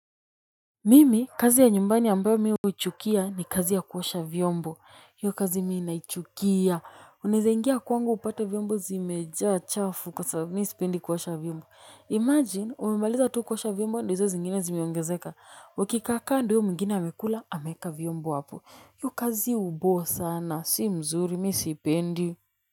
Mimi kazi ya nyumbani ambayo mi huchukia ni kazi ya kuosha vyombo. Hiyo kazi mi naichukia. Unaeza ingia kwangu hupate vyombo zimejaa chafu kwa sababu mi sipendi kuosha vyombo. Imagine umemaliza tu kuosha vyombo ndo hizo zingine zimeongezeka. Ukikaakaa ndo huyo mwingine h amekula ameeka vyombo hapo. Hiyo kazi uboo sana. Si mzuri mi sipendi.